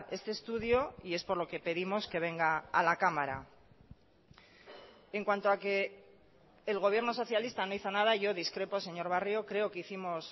este estudio y es por lo que pedimos que venga a la cámara en cuanto a que el gobierno socialista no hizo nada yo discrepo señor barrio creo que hicimos